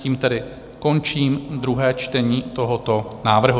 Tím tedy končím druhé čtení tohoto návrhu.